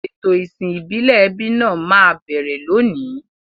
Ètò ìsìn ìbílẹ̀ ẹbí náà máa bẹ̀rẹ̀ lónìí.